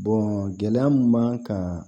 gɛlɛya mun b'an kan